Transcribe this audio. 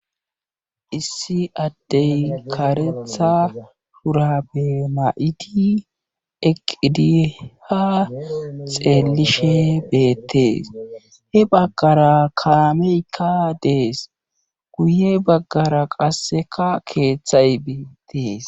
issi addey karetha shurabe ma7idi eqidiha xeelishe beettees he baggara kaameykka dees guye baggara qasseka keeththay biittees